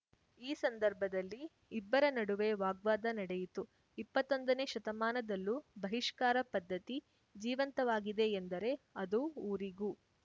ಈ ಸಂದರ್ಭದಲ್ಲಿ ಇಬ್ಬರ ನಡುವೆ ವಾಗ್ವಾದ ನಡೆಯಿತು ಇಪ್ಪತ್ತೊಂದನೇ ಶತಮಾನದಲ್ಲೂ ಬಹಿಷ್ಕಾರ ಪದ್ಧತಿ ಜೀವಂತವಾಗಿದೆ ಎಂದರೆ ಅದು ಊರಿಗೂ